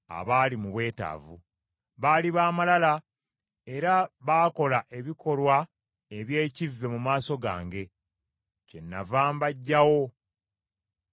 Baali baamalala, era baakola ebikolwa eby’ekivve mu maaso gange, kyennava mbaggyawo nga bwe nasiima.